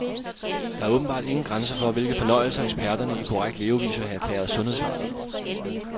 Der er åbenbart ingen grænser for, hvilke fornøjelser eksperterne i korrekt levevis vil have erklæret sundhedsfarlige.